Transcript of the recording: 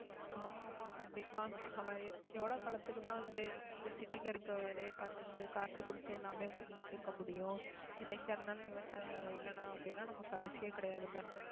ஆமா, ஆமா கண்டிப்பா ஆஹ் எவ்வளவு காலத்துக்குதான் வந்து, இந்த city ல இருக்கிற வேலையை பார்த்துக்கிட்டு, காசு கொடுத்து எல்லாமே பண்ணிட்டு இருக்க முடியும் என்னைக்கா இருந்தாலும் விவசாயம் இல்லைன்னா, அப்படின்னா நமக்கு அரிசியே கிடையாதுல்ல